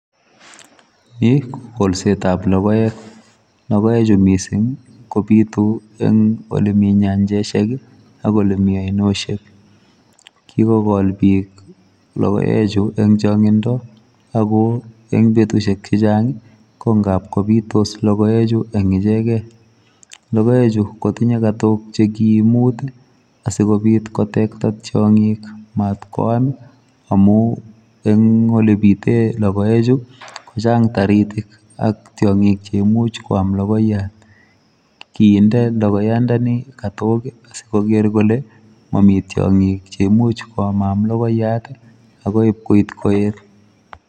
Ni ko kolset ab logoek ,logoek chuu missing ii kobituu en ole Mii nyanjoosiek ak ole Mii ainosiek ,kigokoo biik logoek chuu eng changindaa ako eng betusiek che chaang ko ngaap kobitos logoek chuu en ichegeen logoechiu kotinyei katook muut asikobiit kotektai tiangik matkoyaam amuun eng ole biteen logoek chuu kochaang taritiik ak tiangiik cheimuuch koyaam logoiyaat, kinde logoiyaat ndeni katoog asikoger kole mamii tiangik cheimuuch koyamamyaam logoiyaat ak koib koet.